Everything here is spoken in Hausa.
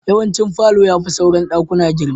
Yawancin falo ya fi sauran daƙuna girma.